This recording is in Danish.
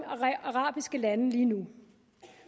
arabiske lande lige nu